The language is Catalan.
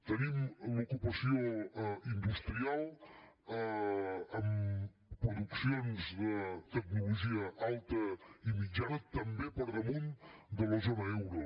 tenim l’ocupació industrial amb produccions de tecnologia alta i mitjana també per damunt de la zona euro